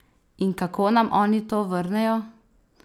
In kako nam oni to vrnejo?